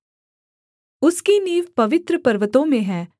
उसकी नींव पवित्र पर्वतों में है